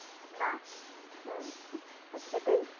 না হম এটাই,